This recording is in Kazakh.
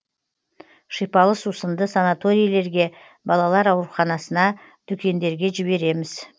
шипалы сусынды санаторийлерге балалар ауруханасына дүкендерге жібереміз